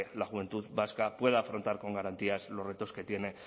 la juventud vasca pueda afrontar con garantías los retos que tiene